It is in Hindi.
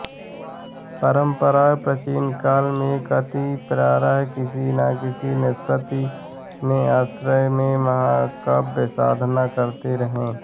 परम्परया प्राचीनकाल में कति प्रायः किसी न किसी नृपति ने आश्रय में काव्यसाधना करते रहे